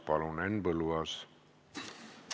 Palun, Henn Põlluaas!